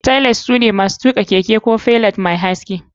Tailight, an shawarce shi don masu tuka keke su yi amfani da ko feda mai haske.